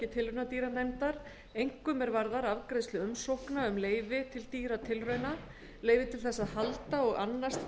tilraunadýranefndar einkum er varðar afgreiðslu umsókna um leyfi til dýratilrauna leyfi til þess að halda og annast